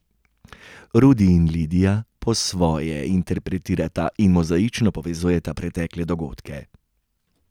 Rudi in Lidija po svoje interpretirata in mozaično povezujeta pretekle dogodke.